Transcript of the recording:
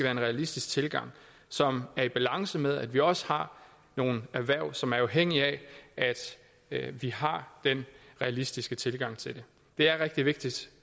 en realistisk tilgang som er i balance med at vi også har nogle erhverv som er afhængige af at vi har den realistiske tilgang til det det er rigtig vigtigt